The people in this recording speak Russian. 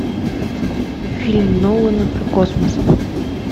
фильм нолана про космос